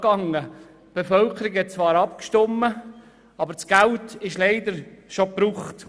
Die Bevölkerung hat zwar abgestimmt, aber das Geld ist leider bereits ausgegeben.